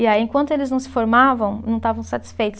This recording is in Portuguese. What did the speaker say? E aí, enquanto eles não se formavam, não estavam satisfeitos.